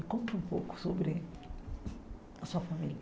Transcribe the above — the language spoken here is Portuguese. Me conta um pouco sobre a sua família.